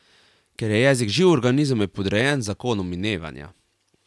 Ker je jezik živ organizem, je podrejen zakonom minevanja.